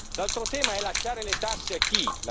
L'altro tema è lasciare le tasse a chi?